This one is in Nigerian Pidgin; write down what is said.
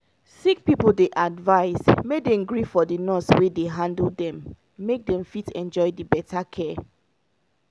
sick pipo dey advise make dem gree for the nurse wey dey handle dem make dem fit enjoy the better care.